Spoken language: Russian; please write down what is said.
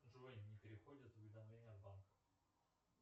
джой не приходят уведомления с банка